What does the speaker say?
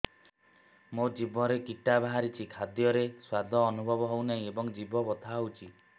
ମୋ ଜିଭରେ କିଟା ବାହାରିଛି ଖାଦ୍ଯୟରେ ସ୍ୱାଦ ଅନୁଭବ ହଉନାହିଁ ଏବଂ ଜିଭ ବଥା ହଉଛି